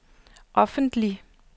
offentligt